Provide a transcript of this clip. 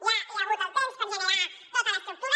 ja hi ha hagut el temps per generar tota l’estructura